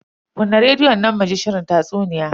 Kunna rediyon nan mu ji shirin tatsuniya.